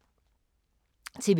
TV 2